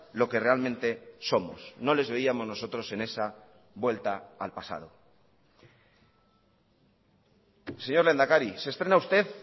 lo que realmente somos no les veíamos nosotros en esa vuelta al pasado señor lehendakari se estrena usted